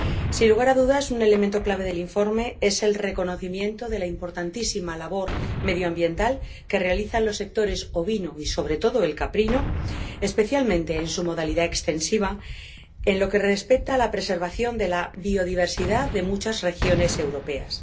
Sin lugar a dudas un elemento clave del informe es el reconocimiento de la importantísima labor medioambiental que realizan los sectores ovino y, sobre todo, el caprino, especialmente en su modalidad extensiva, en lo que respecta a la preservación de la biodiversidad de muchas regiones europeas.